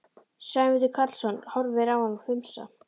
Sæmundur Karlsson horfir á hann hvumsa.